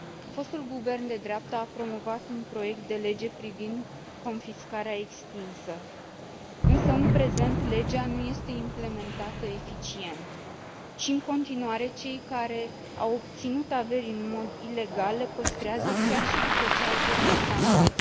Fostul guvern de dreapta a promovat un proiect de lege privind confiscarea extinsă, însă, în prezent, legea nu este implementată eficient și, în continuare, cei care au obținut averi în mod ilegal le păstrează, chiar și după ce au fost condamnați.